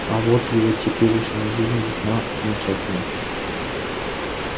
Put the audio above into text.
а вот его теперешняя жизнь весьма примечательна